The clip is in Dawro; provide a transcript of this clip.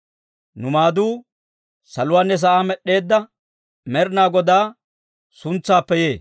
Nu maaduu saluwaanne sa'aa med'd'eedda Med'inaa Godaa suntsaappe yee.